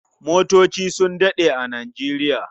Motoci su daɗe a Nijeriya.